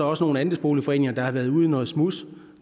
også nogle andelsboligforeninger der har været ude i noget smuds